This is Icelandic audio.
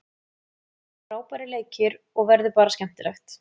Það eru frábærir leikir og verður bara skemmtilegt.